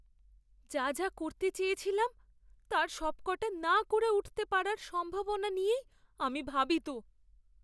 যা যা করতে চেয়েছিলাম তার সবকটা না করে উঠতে পারার সম্ভাবনা নিয়েই আমি ভাবিত।